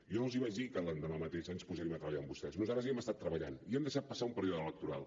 jo no els vaig dir que l’endemà mateix ens posaríem a treballar amb vostès nosaltres hi hem estat treballant i hem deixat passar un període electoral